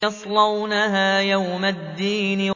يَصْلَوْنَهَا يَوْمَ الدِّينِ